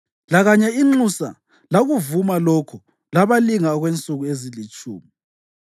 Lakanye inxusa lakuvuma lokho labalinga okwensuku ezilitshumi.